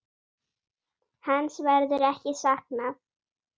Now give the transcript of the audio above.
Hans verður ekki saknað.